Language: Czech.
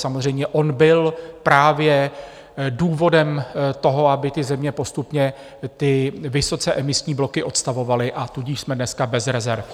Samozřejmě on byl právě důvodem toho, aby ty země postupně ty vysoce emisní bloky odstavovaly, a tudíž jsme dneska bez rezerv.